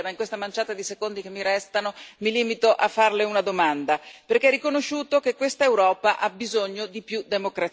Ma in questa manciata di secondi che mi restano mi limito a farle una domanda, perché ha riconosciuto che questa Europa ha bisogno di più democrazia.